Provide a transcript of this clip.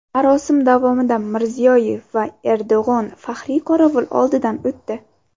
Marosim davomida Mirziyoyev va Erdo‘g‘on faxriy qorovul oldidan o‘tdi.